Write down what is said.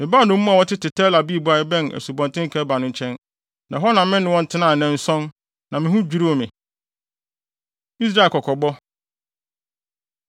Mebaa nnommum a wɔtete Tel Abib a ɛbɛn Asubɔnten Kebar no nkyɛn. Na hɔ na me ne wɔn tenaa nnanson, na me ho dwiriw me. Israel Kɔkɔbɔ